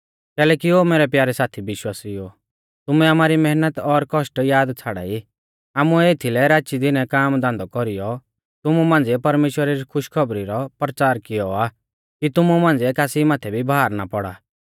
कैलैकि ओ मैरै प्यारै साथी विश्वासिउओ तुमै आमारी मैहनत और कौष्ट याद छ़ाड़ाई आमुऐ एथीलै राचीदिनै काम धान्धौ कौरीयौ तुमु मांझ़िऐ परमेश्‍वरा री खुशखौबरी रौ परचार कियौ आ कि तुमु मांझ़िऐ कासी माथै भी भार ना पौड़ा